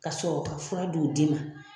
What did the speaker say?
Ka sɔrɔ ka fura di' d' ma